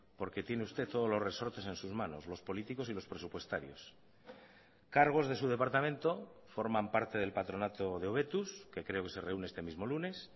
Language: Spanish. porque tiene usted todos los resortes en sus manos los políticos y los presupuestarios cargos de su departamento forman parte del patronato de hobetuz que creo que se reúne este mismo lunes